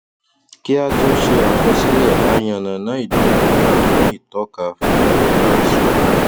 kí á tó ṣe àkọsílẹ a yànnàná ìdúnadúrà fún ìtọka fún ìtọka àsunwon